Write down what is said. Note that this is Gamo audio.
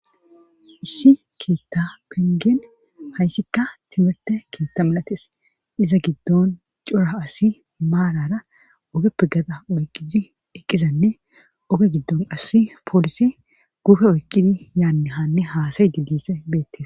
Issi keetta pengen hayssikka timirte keetta milatees iza giddon cora asi maalara ogepe gada oyqizi eqqizanne oge giddon asi poolisi gufe oyqqizi yaanne haanne haasaye didise beettee.